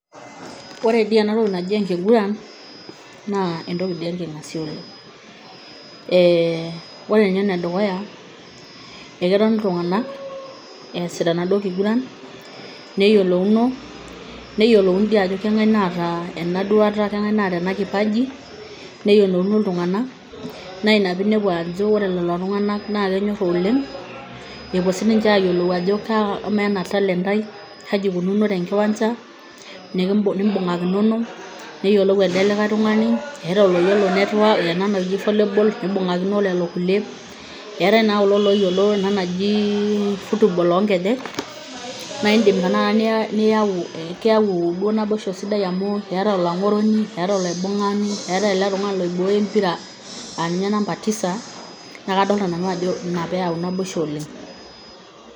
Ore dii eena toki naaji enkiguran naa entoki enking'asia oleng. Eeh oore ninye enedukuya, eketoni iltung'anak, easishore enaduoo kiguran, neyiolouno, neyiolouni toi aajo kang'ae naata eena duata kang'ae naata eena kipaji, neyiolouno iltung'anak, naa iina peyieinepu aajo oore lelo tung'anak naa kenyora oleng, epuo sininche ayiolou aajo eama eena talent talent ai kaji ikununo tenkiwanja, nimbung'akinono, neyiolou elde likae tung'ani, eetae oloyiolo eena naji volleyball neibung'akino olelo kulie, keetae naa kulie looyiolo ena naji football oo nkejek, keyau naa naboisho sidaim oleng amuu keetae olang'oroni eetae olaibung'ani eetae eele tung'ani loibooyo empira aah ninye [cs[number tisa naa kadoolta nanu aajo iina peyie eyau naboisho oleng.